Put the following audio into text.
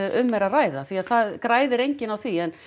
um er að ræða því það græðir enginn á því en